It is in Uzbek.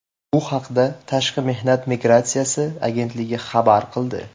Bu haqda Tashqi mehnat migratsiyasi agentligi xabar qildi .